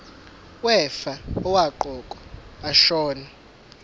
wefa owaqokwa ashona